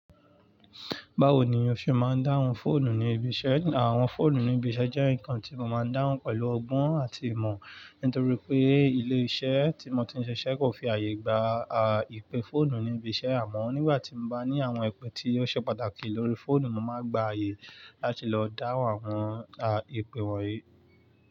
Báwo ni ò se máa ń dáhùn fóònù ní ibi iṣẹ́? Àwọn fóònù ní ibi iṣẹ́ jẹ́ nǹkan tí mo máa ń dáhùn pẹ̀lú ọgbọ́n àti ìmọ̀, nítorí pé ilé iṣẹ́ tí mo ti ń ṣe iṣẹ́ kò fi àyè gba, ìpè fóònù ní ibi iṣẹ́ àmọ́ nígbà tí mo bá ní àwọn ìpè tí ò ṣe pàtàkì lórí fóònù, mo máa gba àyè láti lọ dáhùn àwọn, ìpè wọ̀nyí.